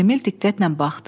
Emil diqqətlə baxdı.